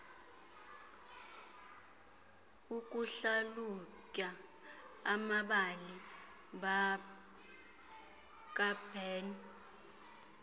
ukuhlalutya amabali kaburns